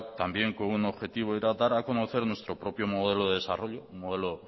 también con un objetivo era dar a conocer nuestro propio modelo de desarrollo un modelo